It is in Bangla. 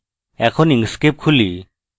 এখন inkscape খুলি